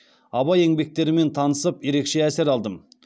абай еңбектерімен танысып ерекше әсер алдым